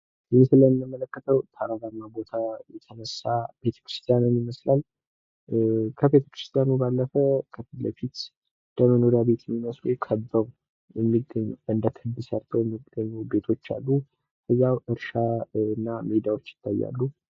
እዚህ ምስል ላይ የምንመለከተው ተራራማ ቦታ የተነሳ ቤተክርስቲያንን ይመስላል። ከቤተክርስቲያኑ ባለፈ ከፊት ለፊት እንደመኖርያ ቤት የሚመስሉ ከበው የሚገኙ እንደ ክብ ሰርተው የሚገኙ ቤቶች አሉ። ያው እርሻና ሜዳዎች ይታያሉ።